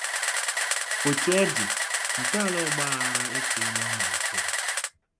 Otú ọ dị, ntọala ọgbaghara a etela ọ malitere.